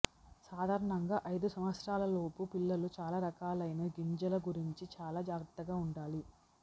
సాధారణంగా ఐదు సంవత్సరాలలోపు పిల్లలు చాలా రకాలైన గింజల గురించి చాలా జాగ్రత్తగా ఉండాలి